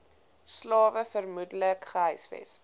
slawe vermoedelik gehuisves